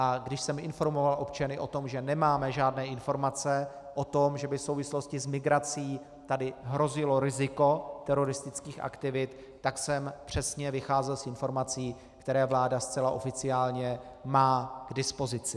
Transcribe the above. A když jsem informoval občany o tom, že nemáme žádné informace o tom, že by v souvislosti s migrací tady hrozilo riziko teroristických aktivit, tak jsem přesně vycházel z informací, které vláda zcela oficiálně má k dispozici.